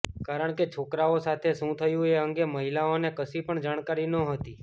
કારણ કે છોકરઓ સાથે શું થયું એ અંગે મહિલાઓને કશી પણ જાણકારી નહોતી